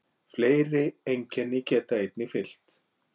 Fleiri einkenni geta einnig fylgt.